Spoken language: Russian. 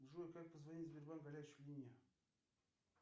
джой как позвонить в сбербанк горячую линию